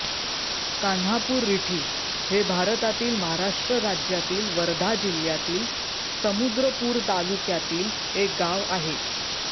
कान्हापूररिठी हे भारतातील महाराष्ट्र राज्यातील वर्धा जिल्ह्यातील समुद्रपूर तालुक्यातील एक गाव आहे